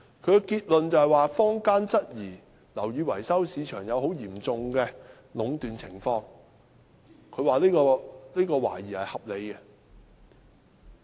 其結論是，坊間質疑樓宇市場出現很嚴重的壟斷情況，這懷疑是合理的。